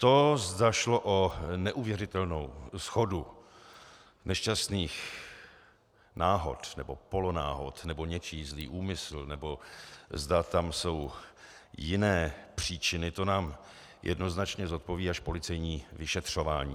To, zda šlo o neuvěřitelnou shodu nešťastných náhod nebo polonáhod, nebo něčí zlý úmysl, nebo zda tam jsou jiné příčiny, to nám jednoznačně zodpoví až policejní vyšetřování.